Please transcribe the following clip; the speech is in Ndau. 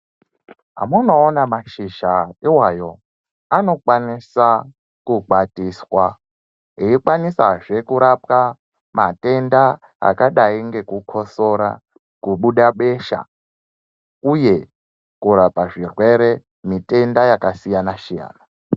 Amunoona mashizha iwayo anokwanisa kukwatiswa eikwanisazve kurapwa matenda akadai ngekukosora kubuda besha uye kurapa zvirwere mitenda yakasiyana siyana.